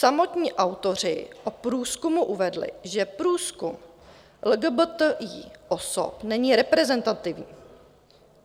Samotní autoři o průzkumu uvedli, že průzkum LGBTI osob není reprezentativní.